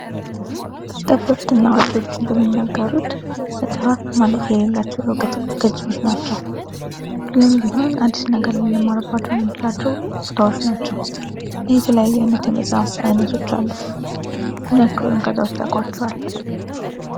ጠበብት እና አዋቂዎች እንደሚናገሩት መፅሀፍት ማለቂያ የሌላቸው የዕውቀት ገፆች ናቸው። ሁሌም ቢሆን አዲስ ነገር ልንማርባቸው የምንችልባቸው ቦታዎች ናቸው። የተለያዩ የመፅሀፍት አይነቶች አሉ። ምን ያክሉን ከዛ ውስጥ ታቋቸዋላችሁ?